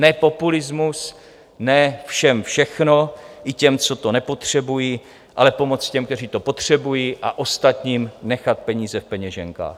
Ne populismus, ne všem všechno, i těm, co to nepotřebují, ale pomoc těm, kteří to potřebují, a ostatním nechat peníze v peněženkách.